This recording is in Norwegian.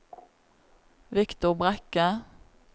Viktor Brekke